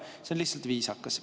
See on lihtsalt viisakas.